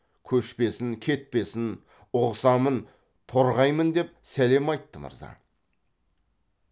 көшпесін кетпесін ұғысамын торғаймын деп сәлем айтты мырза